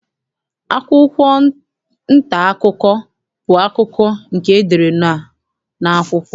Akwụkwụ nta akụkọ bụ akụkọ nke e dere n'akwụkwọ.